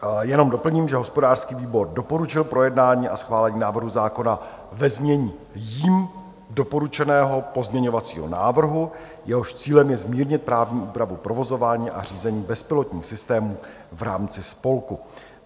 Jenom doplním, že hospodářský výbor doporučil projednání a schválení návrhu zákona ve znění jím doporučeného pozměňovacího návrhu, jehož cílem je zmírnit právní úpravu provozování a řízení bezpilotních systémů v rámci spolku.